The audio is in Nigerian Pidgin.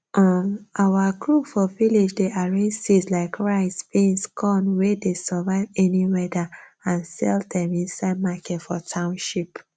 um our group for village dey arrange seeds like rice beans corn wey dey survive any weather and sell dem inside market for township